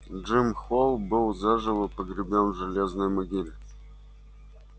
джим холл был заживо погребён в железной могиле